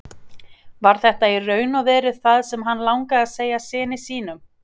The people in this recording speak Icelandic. Var þetta í raun og veru það sem hann langaði að segja syni sínum?